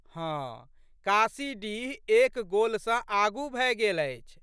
हँ, काशीडीह एक गोल सँ आगू भए गेल अछि।